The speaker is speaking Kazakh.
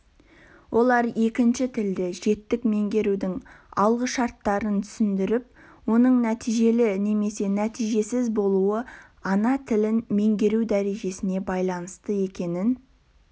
олар екінші тілді жетік меңгерудің алғышарттарын түсіндіріп оның нәтижелі немесе нәтижесіз болуы ана тілін меңгеру дәрежесіне байланысты екенін